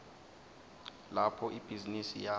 lapho ibhizinisi yakho